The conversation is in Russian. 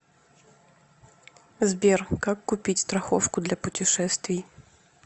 сбер как купить страховку для путешествий